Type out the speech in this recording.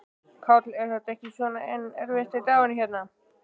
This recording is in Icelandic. Páll: Er þetta ekki svona einn erfiðasti dagurinn hérna, lengi?